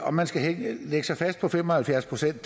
om man skal lægge sig fast på fem og halvfjerds procent